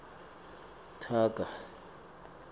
taga